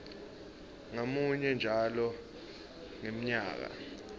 ngamunye njalo ngemnyaka